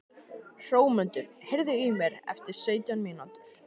Hrómundur, heyrðu í mér eftir sautján mínútur.